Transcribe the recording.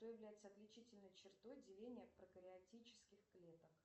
что является отличительной чертой деления прокриатических клеток